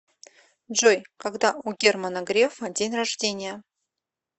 джой когда у германа грефа день рождения